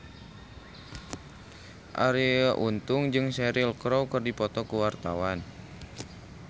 Arie Untung jeung Cheryl Crow keur dipoto ku wartawan